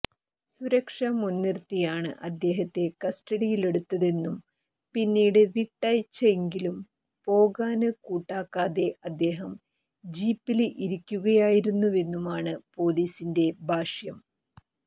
സുരക്ഷ മുന്നിര്ത്തിയാണ് അദ്ദേഹത്തെ കസ്റ്റഡിയിലെടുത്തതെന്നും പിന്നീട് വിട്ടയച്ചെങ്കിലും പോകാന് കൂട്ടാക്കാതെ അദ്ദേഹം ജീപ്പില് ഇരിക്കുകയായിരുന്നുവെന്നുമാണ് പൊലിസിന്റെ ഭാഷ്യം